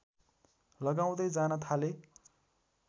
लगाउँदै जान थाले